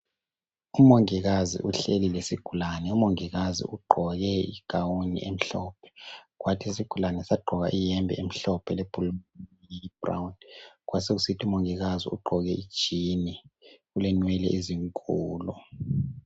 Umongikazi uhleli lesigulane umongikazi ugqoke igawuni emhlophe kwathi isigulane sagqoka iyembe emhlophe lebhulu eliyi bhurawuni kwasokusithi umongikazi ugqoke ijini ulenwele ezinkulu.